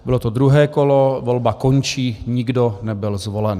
Bylo to druhé kolo, volba končí, nikdo nebyl zvolen.